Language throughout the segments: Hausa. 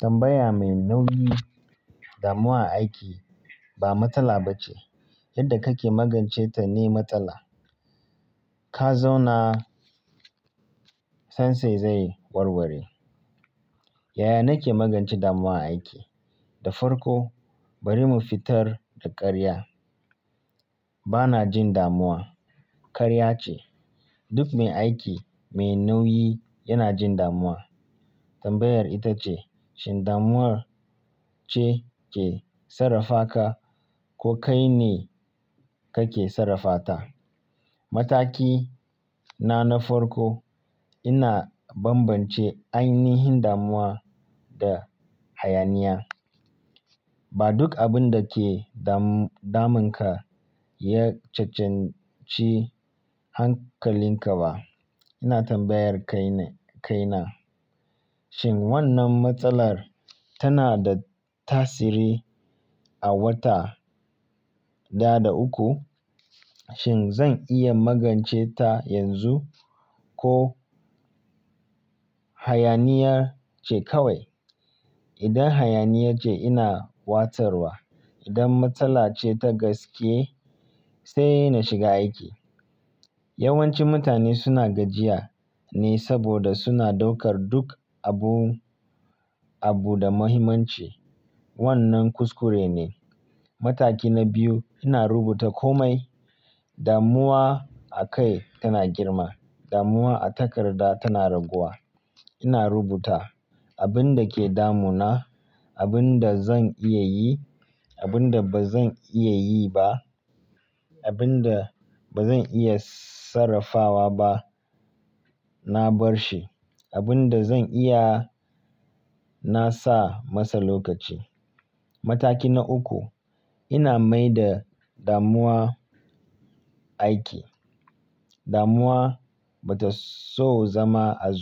Tambaya mai nauyi damuwa a aiki ba matsala ba ce. Yadda kake magance ta ne matsala. Ka zauna, sannan sai zai warware. Yaya nake magance damuwa aiki? Da farko bari mu fitar da ƙarya. Ba na jin damuwa. Ƙarya ce. Duk mai aiki mai nauyi yana jin damuwa. Tambayar ita ce shin damuwar ce ke sarrafa ka ko kai ne kake sarrafa ta? Mataki na na farko ina bambance ainihin damuwa da hayaniya. Ba duk abin da ke damunka ya cancanci hankalinka ba. Ina tambayar kaina shin wannan matsalar tana da tasiri a wata ɗaya da uku? Shin zan iya magance ta yanzu ko hayaniya ce kawai? Idan hayaniya ce ina watsarwa. Idan matsala ce ta gaske sai na shiga aiki. Yawanci mutane suna gajiya ne saboda suna daukar duk abu abu da muhimmanci. Wannan kuskure ne. Mataki na biyu ina rubuta komai. Damuwa a kai tana girma. Damuwa a takarda tana raguwa. Ina rubuta abin da ke damuna, abin da zan iya yi, abin da ba zan iya yi ba, abin da ba zan iya sarrafawa ba na bar shi. Abin da zan iya na sa masa lokaci. Mataki na uku ina maida damuwa aiki. Damuwa bata so zama a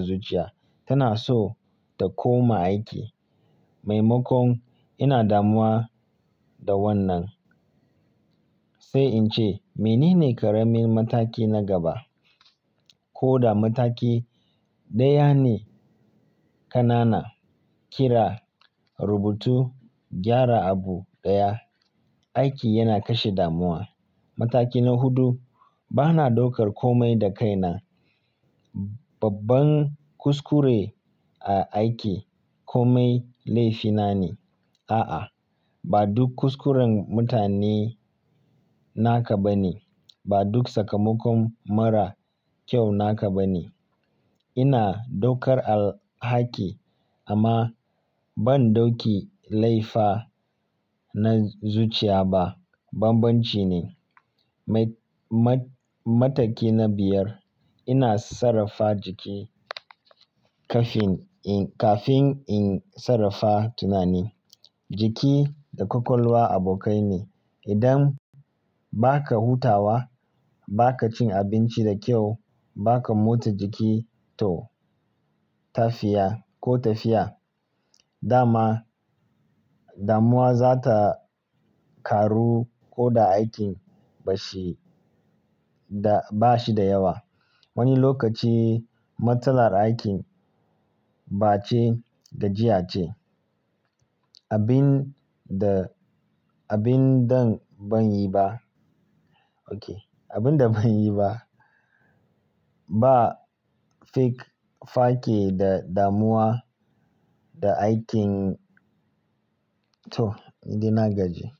zuciya. Tana so ta koma aiki. Maimakon ina damuwa da wannan sai in ce mene ne ƙaramin mataki na gaba? Ko da mataki ɗaya ne ƙanana. Kira, rubutu, gyara abu ɗaya. Aiki yana kashe damuwa. Mataki na hudu bana daukar komai da kaina. Babban kuskure a aiki komai laifina ne. A'a ba duk kuskuren mutane naka ba ne. Ba duk sakamakon mara kyau naka ba ne. Ina daukar alhaki amma ban ɗauki laifa na zuciya ba. Bambanci ne. Mataki na biyar ina sarrafa jiki kafin in kafin in sarrafa tunani. Jiki da kwakwalwa abokai ne. Idan baka hutawa, baka cin abinci da kyau, baka mota jiki to tafiya ko tafiya dama damuwa za ta ƙaru ko da aikin bashi da yawa. Wani lokaci matsalar aikin ba ce gajiya ce. Abin da abin dan ban yi ba. Oke abin da ban yi ba ba fake fake da damuwa da aikin to ni da nagaji.